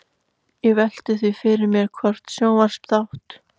Ég velti því fyrir mér hvort sjónvarpsþátt